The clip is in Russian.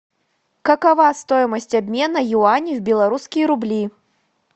какова стоимость обмена юани в белорусские рубли